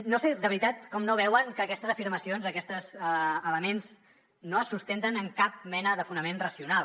no sé de veritat com no veuen que aquestes afirmacions aquests elements no es sustenten en cap mena de fonament racional